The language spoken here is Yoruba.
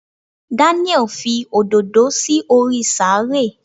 Daniel Fi òdòdó sí orí sàárè